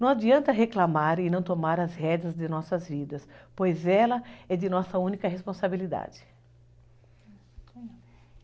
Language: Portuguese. Não adianta reclamar e não tomar as regras de nossas vidas, pois ela é de nossa única responsabilidade.